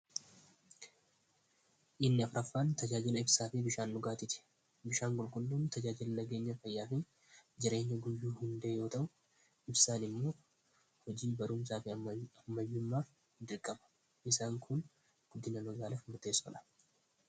inni afraffaan tajaajila ibsaa fi bishaan dhugaatiiti bishaan qulqulluun tajaajila nageenya fayyaafi jireenya guyyuu hundee yoo ta'u ibsaan immoo hojii baruumsaafi ammayyummaaf dirqama isaan kun guddina magaalaf murteessodha